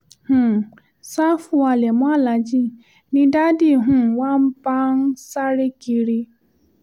um ṣàfù halẹ̀ mọ́ aláàjì ni dádì um wa bá ń sáré kiri